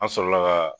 An sɔrɔla ka